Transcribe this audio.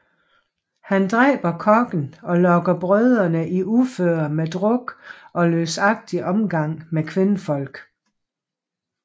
Han dræber kokken og lokker brødrene i uføre med druk og løsagtig omgang med kvindfolk